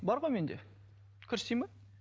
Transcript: бар ғой менде көрсетейін бе